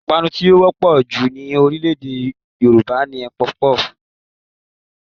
Ìpanu tí ó wọ́pọ̀ jù ní orílẹ̀ èdè Nàìjíríà ni Pọfupọ́ọ̀fù